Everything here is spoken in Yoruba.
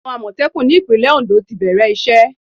Àwọn Àmọ̀tẹ́kùn ní ìpínlẹ̀ Ondo ti bẹ̀rẹ̀ ìṣe.